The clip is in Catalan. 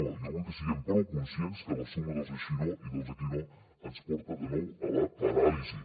jo vull que siguem prou conscients que la suma dels així no i dels aquí no ens porta de nou a la paràlisi